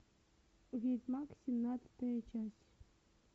ведьмак семнадцатая часть